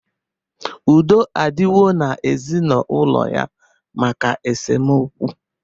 Udo adighọ n'ezinaụlọ ya maka esemokwu